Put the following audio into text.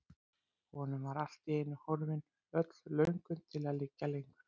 Honum var allt í einu horfin öll löngun til að liggja lengur.